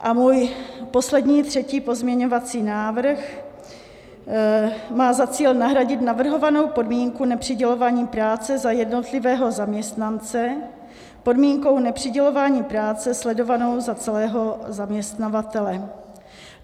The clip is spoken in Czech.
A můj poslední, třetí pozměňovací návrh má za cíl nahradit navrhovanou podmínku nepřidělování práce za jednotlivého zaměstnance podmínkou nepřidělování práce sledovanou za celého zaměstnavatele.